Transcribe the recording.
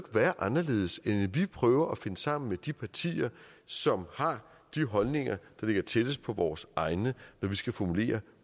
være anderledes end at vi prøver at finde sammen med de partier som har de holdninger der ligger tættest på vores egne når vi skal formulere